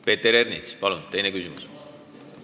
Peeter Ernits, palun teine küsimus!